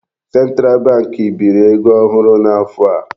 Central bank biri ego ohụrụ n'afọ a.